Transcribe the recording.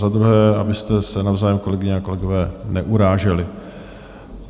Za druhé, abyste se navzájem, kolegyně a kolegové, neuráželi.